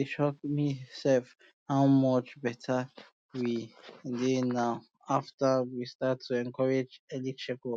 e shock me um sef how much um better we dey now after um we start to encourage early check up